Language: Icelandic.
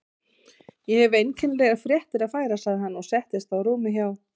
Ég hef einkennilegar fréttir að færa sagði hann og settist á rúmið hjá